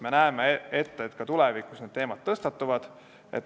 Me näeme ette, et ka tulevikus need teemad tõstatuvad.